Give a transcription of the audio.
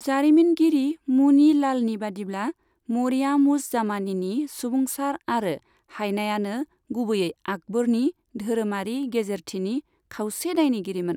जारिमिनगिरि मुनि लालनि बादिब्ला, 'मरियाम उज जामानीनि सुबुंसार आरो हाइनायानो गुबैयै आकबरनि धोरोमारि गेजेरथिनि खावसे दायनिगिरिमोन।